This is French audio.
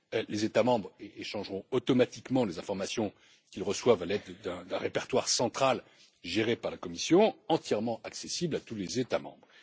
Les États membres échangeront automatiquement les informations qu'ils reçoivent à l'aide d'un répertoire central géré par la Commission, entièrement accessible à tous les États membres.